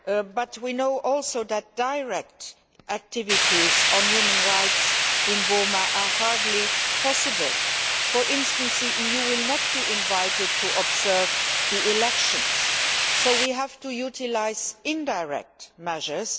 But we also know that direct activities on human rights in Burma are hardly possible. For instance, the EU will not be invited to observe the elections, so we have to utilise indirect measures.